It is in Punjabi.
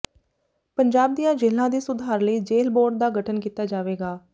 ਪੰਜਾਬ ਦੀਆਂ ਜੇਲ੍ਹਾਂ ਦੇ ਸੁਧਾਰ ਲਈ ਜੇਲ੍ਹ ਬੋਰਡ ਦਾ ਗਠਨ ਕੀਤਾ ਜਾਵੇਗਾ